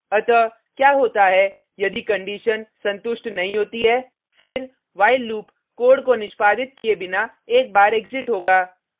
अतः क्या होता है यदि कंडिशन संतुष्ट नहीं होती है फिर while लूप कोड को निष्पादित किये बिना एक बार एग्जिट होगा